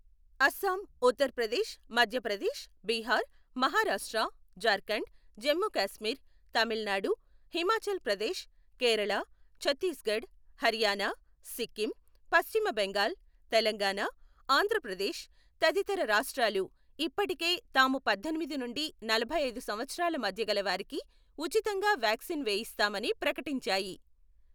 అస్సాం, ఉత్తరప్రదేశ్, మధ్యప్రదేశ్, బీహార్, మహారాష్ట్ర, జార్ఖండ్, జమ్ముకాశ్మీర్, తమిళనాడు , హిమాచల్ ప్రదేశ్, కేరళ, ఛత్తీస్ఘడ్, హర్యానా, సిక్కిం, పశ్చిమబెంగాల్, తెలంగాణా, ఆంధ్రప్రదేశ్, తదితర రాష్ట్రాలు ఇప్పటికే తాము పద్దెనిమిది నుండి నలభైఐదు సంవత్సరాల మధ్యగల వారికి ఉచితంగా వాక్సిన్ వేయిస్తామని ప్రకటించాయి.